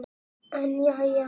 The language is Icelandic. En jæja.